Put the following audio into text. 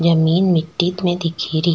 जमीं मिटटी में दिख री।